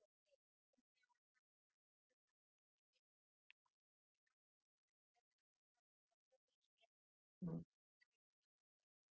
पण मी येवढं मात्र खात्री देऊन सांगू शेकते कि म्हणजे काय होत sir delivery करतांना process अशी आहे तुम्ही जर एखाद्या कंपनीचा tv